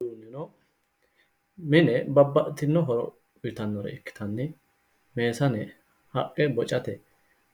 kuni uduunnino mine babbaxitino horo uyitannore ikkitanna meesane haqqe bocate